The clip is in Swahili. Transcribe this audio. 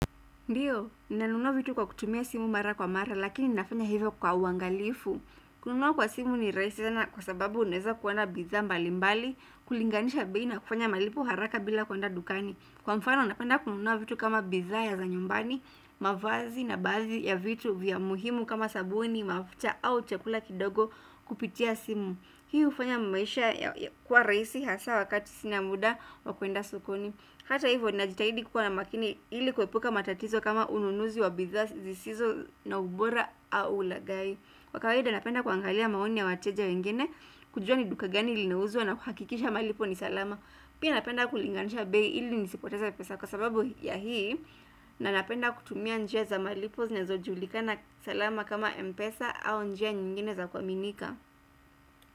Ndiyo nanunua vitu kwa kutumia simu mara kwa mara lakini nafanya hivyo kwa wangalifu. Kununua kwa simu ni rahisi sana kwa sababu uneza kuwa na bidhaa mbali mbali kulinganisha bei na kufanya malipo haraka bila kuenda dukani. Kwa mfano napenda kununua vitu kama bidhaa ya za nyumbani mavazi na baadhi ya vitu vya muhimu kama sabuni mafuta au chakula kidogo kupitia simu. Hii hufanya maisha kuwa rahisi hasa wakati sina muda wa kuenda sokoni. Hata hivyo najitahidi kuwa na makini ili kuepuka matatizo kama ununuzi wa bidhaa zisizo na ubora au lagai kwa kawaida napenda kuangalia maoni ya wateja wengine kujua ni duka gani ilinauzwa na kuhakikisha malipo ni salama pia napenda kulinganisha bei ili nisipoteze pesa kwa sababu ya hii. Na napenda kutumia njia za malipo zinezojulikana salama kama mpesa au njia nyingine za kuaminika.